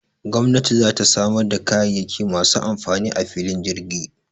Gwamnati za ta samar da kayayyaki masu amfani a filin jirgin